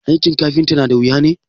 aikin kafinta nada wuya ne?